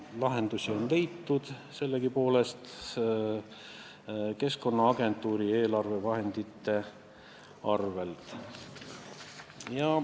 Aga lahendusi on leitud sellegipoolest, kasutades Keskkonnaagentuuri eelarvevahendeid.